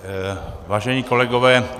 Vážení kolegové.